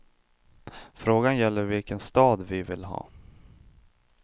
Frågan gäller vilken stad vi vill ha.